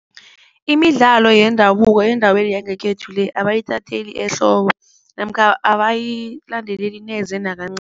Imidlalo yendabuko endaweni yangekhethu le abayithatheli ehloko namkha abayilandeleli neze